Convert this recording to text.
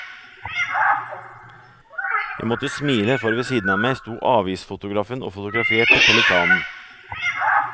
Jeg måtte smile, for ved siden av meg stod avisfotografen og fotograferte pelikanen.